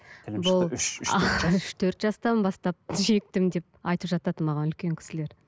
үш төрт жастан бастап шектім деп айтып жатады маған үлкен кісілер